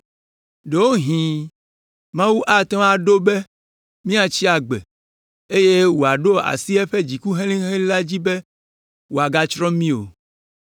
Ɖewohĩ, Mawu ate ŋu aɖo be míatsi agbe, eye wòaɖo asi eƒe dziku helĩhelĩ la dzi be wòagatsrɔ̃ mí o.”